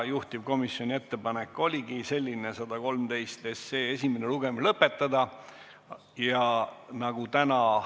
Juhtivkomisjoni ettepanek oligi selline: 112 SE esimene lugemine lõpetada.